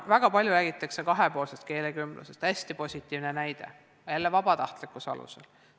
Väga palju räägitakse kahepoolsest keelekümblusest, hästi positiivne näide, jälle vabatahtlikkuse alusel.